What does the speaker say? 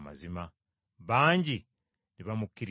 Bangi ne bamukkiririza eyo.